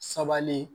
Sabalen